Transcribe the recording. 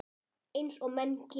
Eins og menn gera.